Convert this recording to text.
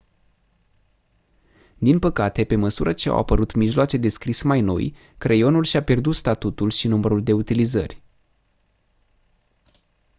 din păcate pe măsură ce au apărut mijloace de scris mai noi creionul și-a pierdut statutul și numărul de utilizări